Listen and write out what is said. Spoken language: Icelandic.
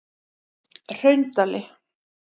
Hraundali